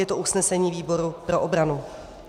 Je to usnesení výboru pro obranu.